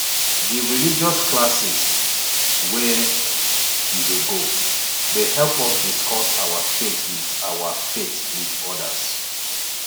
di religious classes wey we dey go dey help us discuss our faith wit our faith wit odas